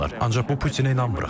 Ancaq bu Putinə inanmırıq.